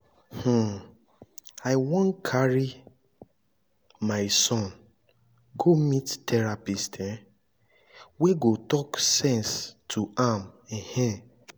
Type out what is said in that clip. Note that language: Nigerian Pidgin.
um i wan carry my son go meet therapist um wey go talk sense to am um